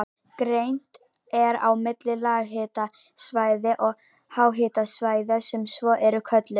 Greint er á milli lághitasvæða og háhitasvæða sem svo eru kölluð.